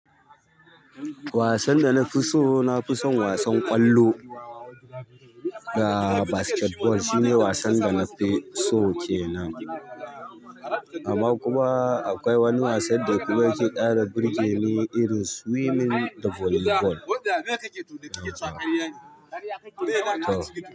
Wasan da na fi so, na fi son wasan ƙwallo da basketball shine wasan da na fi so ke nan. Amma kuma akwai wani wasan da kuma yake ɗara birge ni irin swimming da volleyball.